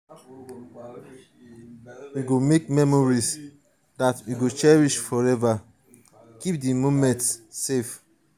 we go make memories dat we go cherish forever keep di moments safe.